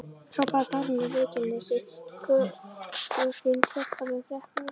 hrópaði Þórunn í Reykjanesi, kotroskin stelpa með freknur.